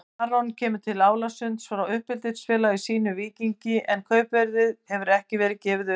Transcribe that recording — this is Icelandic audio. Aron kemur til Álasund frá uppeldisfélagi sínu Víkingi en kaupverðið hefur ekki verið gefið upp.